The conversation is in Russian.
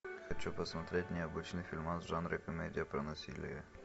хочу посмотреть необычный фильмас в жанре комедия про насилие